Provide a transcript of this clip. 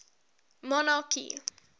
monarchy